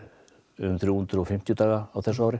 um þrjú hundruð og fimmtíu daga á þessu ári